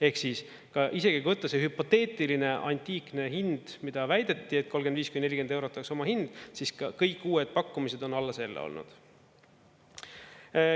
Ehk siis, ka isegi kui võtta see hüpoteetiline antiikne hind, mida väideti, et 35–40 eurot oleks omahind, siis ka kõik uued pakkumised on alla selle olnud.